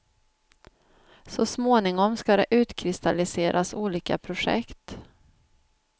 Så småningom ska det utkristalliseras olika projekt.